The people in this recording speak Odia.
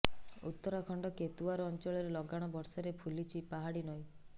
ଉତ୍ତରାଖଣ୍ଡ କୋତୱାର୍ ଅଂଚଳରେ ଲଗାଣ ବର୍ଷାରେ ଫୁଲିଛି ପାହାଡ଼ି ନଈ